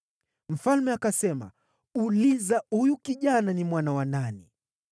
Mfalme akasema, “Uliza huyu kijana ni mwana wa nani.”